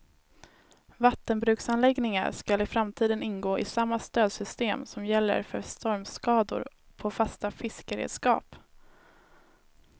Vattenbruksanläggningar skall i framtiden ingå i samma stödsystem som gäller för stormskador på fasta fiskeredskap.